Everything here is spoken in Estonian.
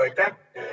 Aitäh!